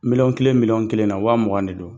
Miliyɔn kelen miliyɔn kelen na wa mugan de don